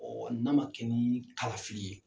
n'a ma kɛ ni kalafili ye.